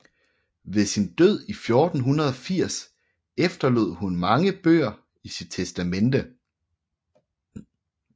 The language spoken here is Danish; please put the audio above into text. Ved sin død i 1480 efterlod hun mange bøger i sit testamente